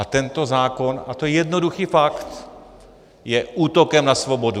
A tento zákon, a to je jednoduchý fakt, je útokem na svobodu.